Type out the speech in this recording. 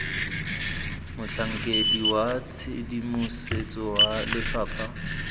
motlhankedi wa tshedimosetso wa lefapha